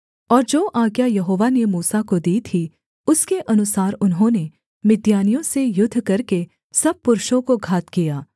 और जो आज्ञा यहोवा ने मूसा को दी थी उसके अनुसार उन्होंने मिद्यानियों से युद्ध करके सब पुरुषों को घात किया